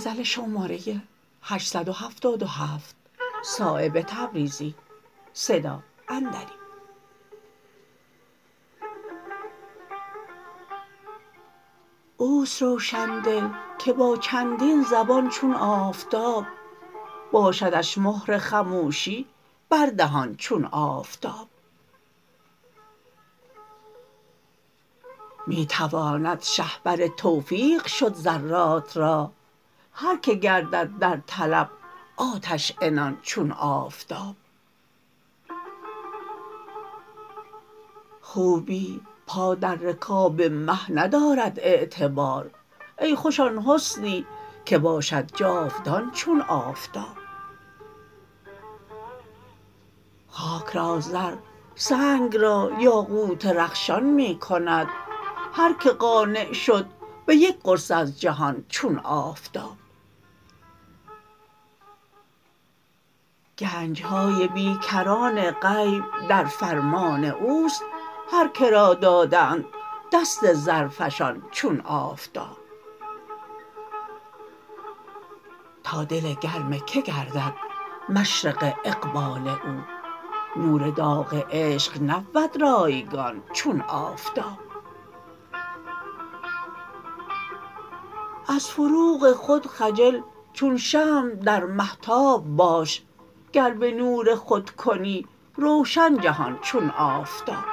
اوست روشندل که با چندین زبان چون آفتاب باشدش مهر خموشی بر دهان چون آفتاب می تواند شهپر توفیق شد ذرات را هر که گردد در طلب آتش عنان چون آفتاب خوبی پا در رکاب مه ندارد اعتبار ای خوش آن حسنی که باشد جاودان چون آفتاب خاک را زر سنگ را یاقوت رخشان می کند هر که قانع شد به یک قرص از جهان چون آفتاب گنج های بیکران غیب در فرمان اوست هر که را دادند دست زرفشان چون آفتاب تا دل گرم که گردد مشرق اقبال او نور داغ عشق نبود رایگان چون آفتاب از فروغ خود خجل چون شمع در مهتاب باش گر به نور خود کنی روشن جهان چون آفتاب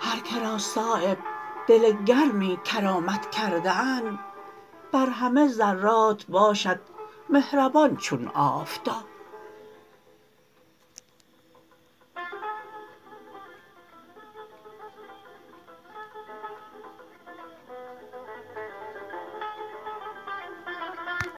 هر که را صایب دل گرمی کرامت کرده اند بر همه ذرات باشد مهربان چون آفتاب